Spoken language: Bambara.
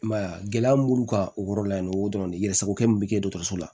I m'a ye a gɛlɛya mun b'u kan o yɔrɔ la yen nɔ o dɔrɔn de yɛrɛ sago kɛ min be kɛ dɔgɔtɔrɔso la